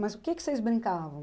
Mas o que que vocês brincavam?